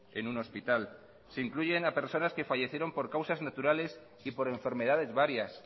en un hospital se incluyen a personas que fallecieron por causas naturales y por enfermedades varias